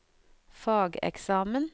fageksamen